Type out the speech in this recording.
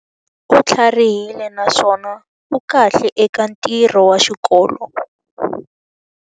U tlharihile naswona u kahle eka ntirho wa xikolo.